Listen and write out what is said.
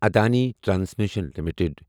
Adani transmission limited